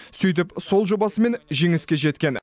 сөйтіп сол жобасымен жеңіске жеткен